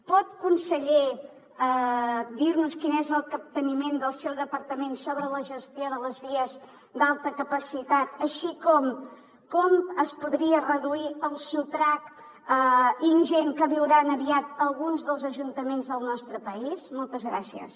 pot conseller dir nos quin és el capteniment del seu departament sobre la gestió de les vies d’alta capacitat i com es podria reduir el sotrac ingent que viuran aviat alguns dels ajuntaments del nostre país moltes gràcies